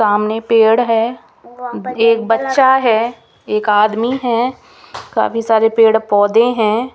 सामने पेड़ है एक बच्चा है एक आदमी है काफ़ी सारे पेड़ पौधे है।